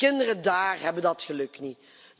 Kinderen daar hebben dat geluk niet.